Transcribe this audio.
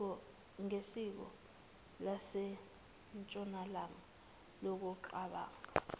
ngesiko lasentshonalanga ngokucabanga